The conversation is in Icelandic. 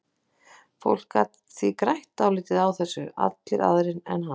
Fólk gat því grætt dálítið á þessu, allir aðrir en hann.